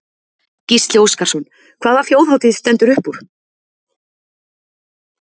Gísli Óskarsson: Hvaða Þjóðhátíð stendur upp úr?